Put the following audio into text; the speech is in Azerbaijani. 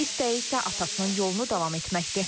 İstəyi isə atasının yolunu davam etməkdir.